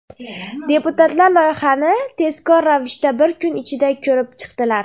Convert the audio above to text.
Deputatlar loyihani tezkor ravishda bir kun ichida ko‘rib chiqdilar.